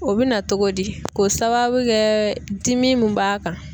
O bɛ na cogo di k'o sababu kɛ dimi min b'a kan.